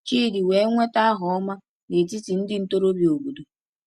Chidi wee nweta aha ọma n’etiti ndị ntorobịa obodo.